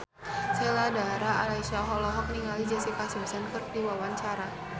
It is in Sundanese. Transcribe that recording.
Sheila Dara Aisha olohok ningali Jessica Simpson keur diwawancara